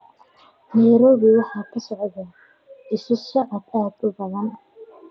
Nayroobi waxaa ka socda isu socod aad u badan